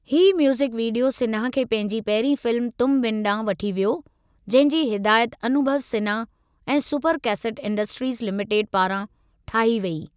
ही music video Sinha खे पंहिंजी पहिरीं फिल्म तुम बिन ॾांहुं वठी वियो जंहिं जी हिदायत अनुभव सिन्हा ऐं सुपर कैसेट इंडस्ट्रीज़ लिमेटेड पारां ठाही वेई।